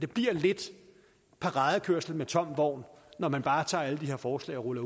bliver lidt paradekørsel med tom vogn når man bare tager alle de her forslag og ruller